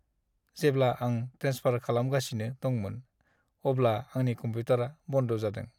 जेब्ला आं ट्रेन्सफार खालामगासिनो दंमोन, अब्ला आंनि कमप्युटारा बन्द जादों।